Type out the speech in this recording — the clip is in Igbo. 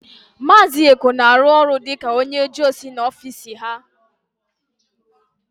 Maazị Eko na-arụ ọrụ dịka onyeojeozi n'ofiisi ha.